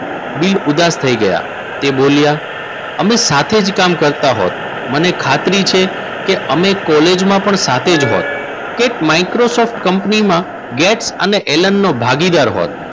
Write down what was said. Bill ઉદાસ થઈ ગયા. એ બોલ્યા અમે સાથે જ કામ કરતા હોત મને ખાતરી છે કે અમે કોલેજમાં પણ સાથે જ હોત. એન્ડ માઈક્રોસોફ્ટ કંપનીમાં ગેટ અને એલન નો ભાગીદાર હોત.